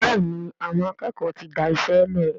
Béèni Àwọn akékòó tí dáiṣélè.